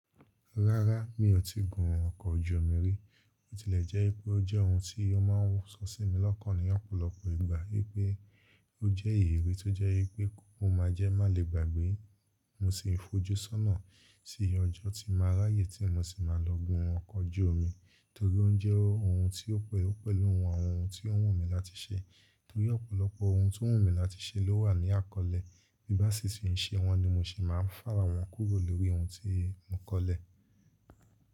Rárá mi ò tíì gun ọkọ̀ ojú omi rí, ó tilẹ̀ jẹ́ pé ó jẹ́ ohun tí ó máa ń sọ sí mi lọ́kàn ní ọ̀pọ̀lọpọ̀ ìgbà wípé ó jẹ́ èrè tó jẹ́ pé kó máa jẹ́ má lè gbàgbé. Mo sì ń fojú sọ́nà sí ọjọ́ tí màá ráyè tí mo sì máa lọ gun ọkọ̀ ojú omi torí ó jẹ́ ohun tí ó pẹ́ ó pẹ̀lú àwọn ohun tí ó wù mí láti ṣe. Torí ọ̀pọ̀lọpọ̀ ohun tó wù mí láti ṣe ló wà ní àkọ́lé, bí bá sì ṣì ń ṣe wọn ni mo sì máa ń fà wọ́n kúrò lórí ohun tí mo kọ̀lé.